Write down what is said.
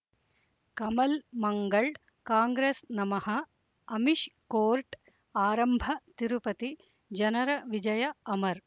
ಕಮಲ್ ಮಂಗಳ್ ಕಾಂಗ್ರೆಸ್ ನಮಃ ಅಮಿಷ್ ಕೋರ್ಟ್ ಆರಂಭ ತಿರುಪತಿ ಜನರ ವಿಜಯ ಅಮರ್